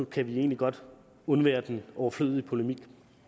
kan vi egentlig godt undvære den overflødige polemik